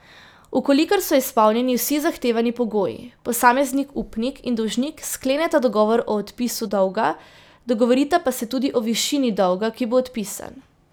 V kolikor so izpolnjeni vsi zahtevani pogoji, posameznik upnik in dolžnik skleneta dogovor o odpisu dolga, dogovorita pa se tudi o višini dolga, ki bo odpisan.